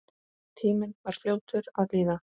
Tíminn var fljótur að líða.